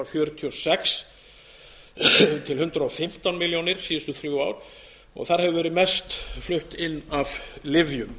fjörutíu og sex til hundrað og fimmtán milljónir síðustu þrjú ár þar hefur verið mest flutt inn af lyfjum